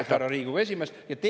Aitäh, härra Riigikogu esimees!